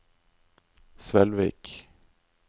Svelvik